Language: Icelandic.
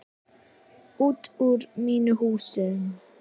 Út úr mínum húsum!